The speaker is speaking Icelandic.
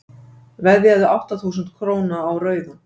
veðjaðu átta þúsund króna á rauðan